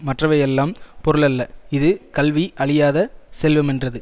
மற்றவையெல்லாம் பொருளல்ல இது கல்வி அழியாத செல்வமென்றது